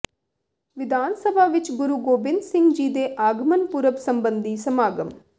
ਵਿਧਾਨ ਸਭਾ ਵਿਚ ਗੁਰੂ ਗੋਬਿੰਦ ਸਿੰਘ ਜੀ ਦੇ ਆਗਮਨ ਪੁਰਬ ਸਬੰਧੀ ਸਮਾਗਮ